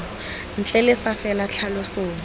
ntle le fa fela tlhaloso